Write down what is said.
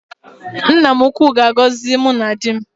Nna m ukwu ga-agọzi mụ na di m